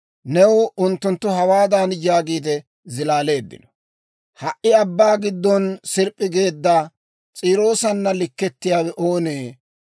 New unttunttu hawaadan yaagiide zilaaleeddino; «‹ «Ha"i abbaa giddon sirp'p'i geedda, S'iiroosana likkettiyaawe oonee?